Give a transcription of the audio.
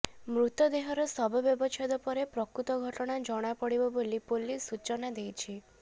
ମୃତଦେହର ଶବ ବ୍ୟବଚ୍ଛେଦ ପରେ ପ୍ରକୃତ ଘଟଣା ଜଣାପଡିବ ବୋଲି ପୋଲିସ୍ ସୂଚନା ଦେଇଛି